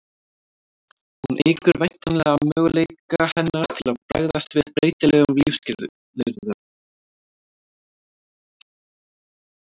hún eykur væntanlega möguleika hennar til að bregðast við breytilegum lífsskilyrðum